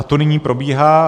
A to nyní probíhá.